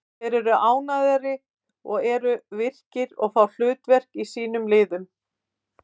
Þeir eru ánægðari og eru virkir og fá hlutverk í sínum liðum.